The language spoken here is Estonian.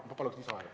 Ma palun lisaaega!